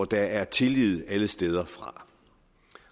der er tillid alle steder fra